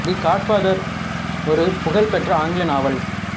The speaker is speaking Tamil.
தி காட் ஃபாதர் ஒரு புகழ் பெற்ற ஆங்கில நாவல்